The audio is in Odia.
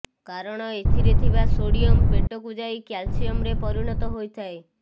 କାରଣ ଏଥିରେ ଥିବା ସୋଡ଼ିୟମ ପେଟକୁ ଯାଇ କ୍ୟାଲସିୟମରେ ପରିଣତ ହୋଇ ଯାଇଥାଏ